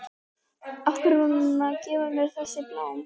Af hverju er hún að gefa mér þessi blóm?